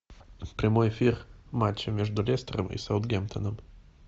прямой эфир матча между лестером и саутгемптоном